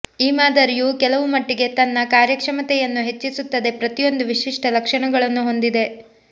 ಈ ಮಾದರಿಯು ಕೆಲವು ಮಟ್ಟಿಗೆ ತನ್ನ ಕಾರ್ಯಕ್ಷಮತೆಯನ್ನು ಹೆಚ್ಚಿಸುತ್ತದೆ ಪ್ರತಿಯೊಂದೂ ವಿಶಿಷ್ಟ ಲಕ್ಷಣಗಳನ್ನು ಹೊಂದಿದೆ